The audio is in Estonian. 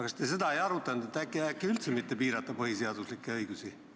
Kas te seda ei arutanud, et äkki üldse mitte piirata põhiseaduslikke õigusi?